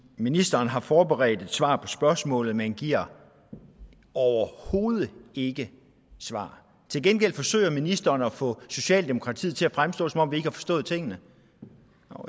ministeren har forberedt et svar på spørgsmålet men giver overhovedet ikke svar til gengæld forsøger ministeren at få socialdemokratiet til at fremstå som om vi har forstået tingene